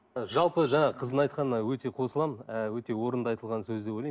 жалпы жаңағы қыздың айтқанына өте қосыламын ы өте орынды айтылған сөз деп ойлаймын